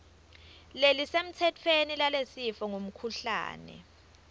lelisemtsetfweni lalesifo ngumkhuhlane